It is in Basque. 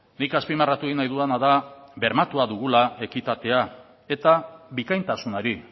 nik azpimarratu egin nahi dudana da bermatua dugula ekitatea eta bikaintasunari